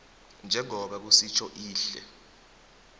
njengoba kusitjho ihlelo